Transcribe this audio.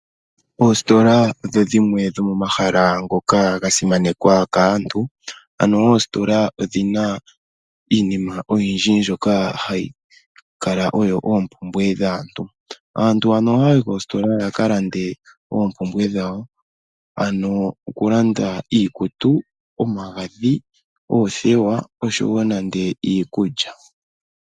Oositola odho dhimwe dhomomahala ngoka ga simanekwa kaantu, ano oositola odhi na iinima oyindji mbyoka hayi kala oyo oompumbwe dhaantu. Aantu ohaya yi koositola ya ka lande oompumbwe dhawo, ano oku landa iikutu, omagadhi, oothewa oshowo nande iikulya.